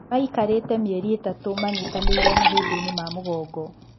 Maikarĩte mĩeri ĩtatu manyitanĩire mahĩndĩinĩ ma mũgongo.